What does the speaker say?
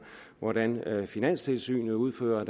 hvordan finanstilsynet udfører